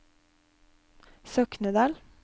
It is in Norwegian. Soknedal